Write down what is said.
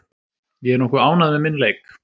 Ég er nokkuð ánægður með minn leik.